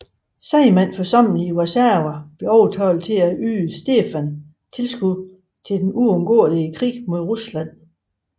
Sejmen forsamlet i Warszawa blev overtalt til at yde Stefan tilskud til den uundgåelige krig mod Rusland